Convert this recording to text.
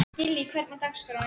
Gillý, hvernig er dagskráin?